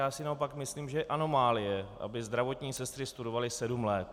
Já si naopak myslím, že je anomálie, aby zdravotní sestry studovaly sedm let.